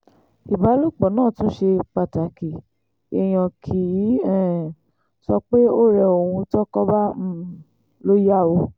ìbálòpọ̀ náà tún ṣe pàtàkì èèyàn kì í um sọ pé ó rẹ òun tọ́kọ bá um lọ yá o